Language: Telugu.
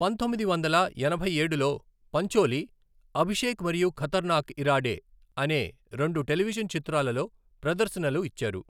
పంతొమ్మిది వందల ఎనభై ఏడులో, పంచోలి అభిషేక్ మరియు ఖతర్నాక్ ఇరాడే అనే రెండు టెలివిజన్ చిత్రాలలో ప్రదర్శనలు ఇచ్చారు.